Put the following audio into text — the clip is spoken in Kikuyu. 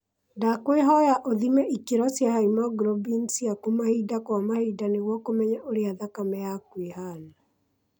Ndwakwihoya uthime ikiro cia haemoglobin ciaku mahinda kwa mahinda niguo kumenya uria thakame yaku ihana